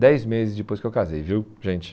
Dez meses depois que eu casei, viu, gente?